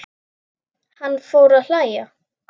Hann fer að hlæja.